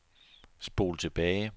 spol tilbage